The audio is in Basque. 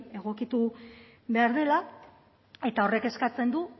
egokitu behar dela eta horrek eskatzen du